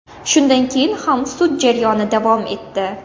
Shundan keyin ham sud jarayoni davom etdi.